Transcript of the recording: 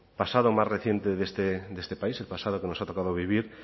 pasado más reciente de este país el pasado que nos ha tocado vivir